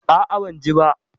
A'a, ban ji ba.